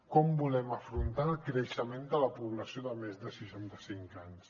com volem afrontar el creixement de la població de més de seixanta cinc anys